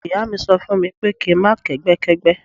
Ìyá mi sọ fún mi pé kí n má kẹ́gbẹ́ kẹ́gbẹ́.